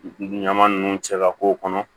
Ɲama nunnu cɛ ka k'o kɔnɔ